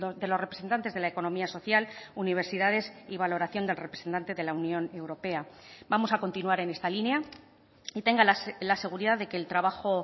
de los representantes de la economía social universidades y valoración del representante de la unión europea vamos a continuar en esta línea y tenga la seguridad de que el trabajo